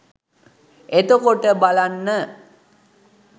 එතකොට බලන්න